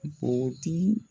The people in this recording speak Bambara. Bogotigiw